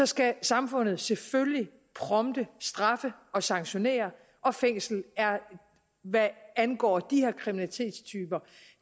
skal samfundet selvfølgelig prompte straffe og sanktionere og fængslet er hvad angår de her kriminalitetstyper